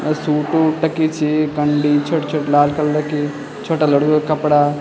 अ suit वूट टकीं छी बंडी छुट-छुट लाल कलर की छोटा लड़कों का कपड़ा --